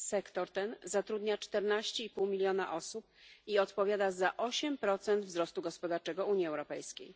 Sektor ten zatrudnia 14,5 mln osób i odpowiada za 8 wzrostu gospodarczego Unii Europejskiej.